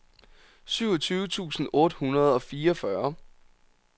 syvogtyve tusind otte hundrede og fireogfyrre